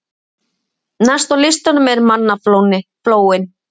Næst á listanum er mannaflóin.